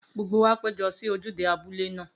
Gbogbo wa péjọ sí ojúde abúlé náà.